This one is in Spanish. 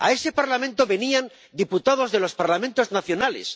A ese Parlamento venían diputados de los Parlamentos nacionales.